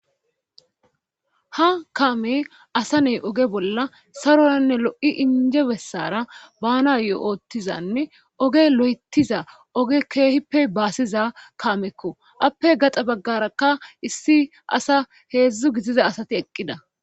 Ha kaame asa ney oge bolla saroranne lo'i inje bessara bana go'oottizanne oge lo'etiza oge keehippe baasiza kaamekko appe gaxa baggarakka issi asa heedzdzu gitiza asati eqqida.